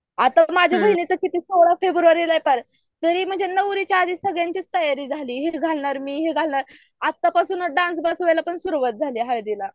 आता माझ्या बहिणीचा किती सोळा फेब्रुवारीला तरी म्हणजे नवरीच्याआधी सगळ्यांची तयारी झाली हे घालणार मी हे घालणार आता पासून डान्स बसवायला पण तैयारी झाली. हळदीला